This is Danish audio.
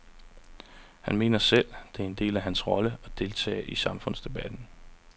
Han mener selv, det er en del af hans rolle at deltage i samfundsdebatten.